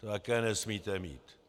To také nesmíte mít.